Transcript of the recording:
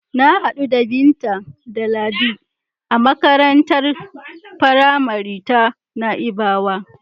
Na hadu da Binta da Ladi a makarantar faramari ta Na'ibawa.